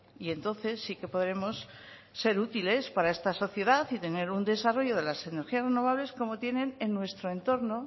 y entonces sí que podremos ser útiles para esta sociedad y tener un desarrollo de las energías renovables como tienen en nuestro entorno